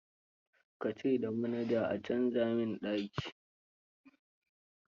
Ka ce da manaja a canza min daki.